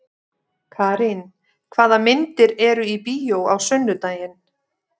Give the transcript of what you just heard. Karin, hvaða myndir eru í bíó á sunnudaginn?